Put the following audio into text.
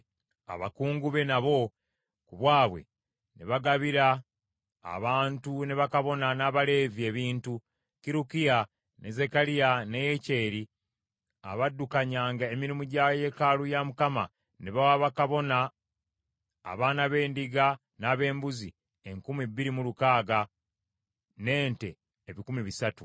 Abakungu be nabo, ku bwabwe ne bagabira abantu ne bakabona n’abaleevi ebintu. Kirukiya, ne Zekkaliya ne Yekyeri abaddukanyanga emirimu gya yeekaalu ya Mukama ne bawa bakabona abaana b’endiga n’ab’embuzi enkumi bbiri mu lukaaga, n’ente ebikumi bisatu.